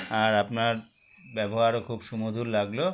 আর আপনার ব্যবহারও খুব সুমধুর লাগলো